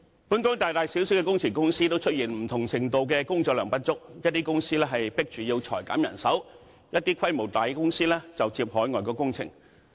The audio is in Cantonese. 本港大大小小的工程公司，都出現不同程度的工作量不足，一些公司被迫裁減人手，規模大的公司就接海外工程。